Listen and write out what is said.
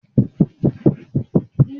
Ǹjẹ́ o máa ra aago ara ògiri lọ́la?